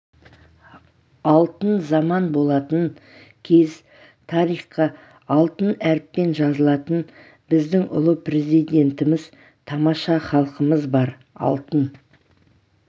алтын заман болатын кез тарихқа алтын әріппен жазылатын біздің ұлы президентіміз тамаша халқымыз бар алтын